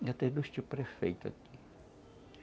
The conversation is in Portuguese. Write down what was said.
E eu tenho dois tio-prefeito aqui.